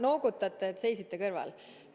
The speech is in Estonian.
Noogutate, et seisite kõrval.